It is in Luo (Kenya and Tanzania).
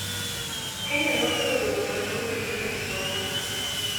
Kenya noketo geno maduong' ahinya e somo .